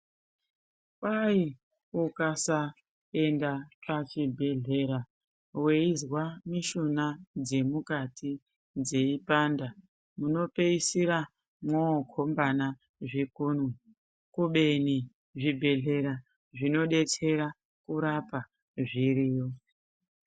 Kwahi ukasaenda pachibhedhlera weizwa mishuna dzemukati dzeipanda munpeisira mwookombana zvikunwe kubeni zvibhedhlera zvinodetsera kurapa, zviriyo.